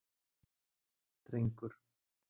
Drengur